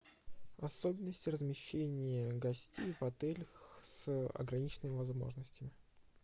особенности размещения гостей в отелях с ограниченными возможностями